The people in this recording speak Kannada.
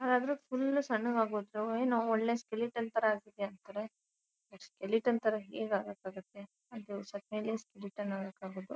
ಯಾರಾದ್ರೂ ಫುಲ್ ಸಣ್ಣಗಾಗೋದ್ರೆ ಅವರೇನು ಒಳ್ಳೆ ಸ್ಕೆಲಿಟನ್ ತರ ಆಗಿದೇ ಅಂತ್ತಾರೆ ಸ್ಕೆಲಿಟನ್ ತರ ಹೇಗೆ ಆಗಕ್ಕೆ ಆಗುತ್ತೆ ಆಗೋದು.